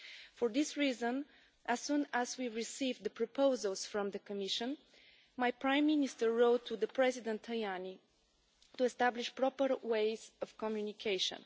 For this reason, as soon as we receive the proposals from the Commission, my Prime Minister wrote to President Tajani to establish proper ways of communication.